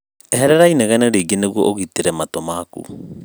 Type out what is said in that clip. Eherera inegene rĩingi niguo ũgitĩre matũ manyu